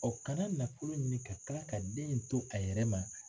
O kana nafolo ɲini ka tila ka den in to a yɛrɛ ma